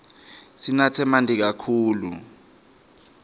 sinatse manti kakhulu